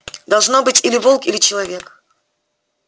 должно быть или волк или человек